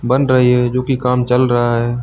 बन रही है जो कि काम चल रहा है।